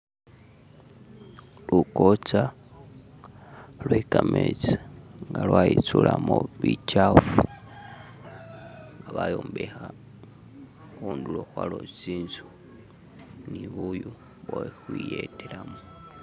Lukocha lwe kametsi nga lwa i'tsulamo bitsyafu, bayombekha khundulo khwayo tsi'nzu ni bu'yu bwekhukhwiyetelamu.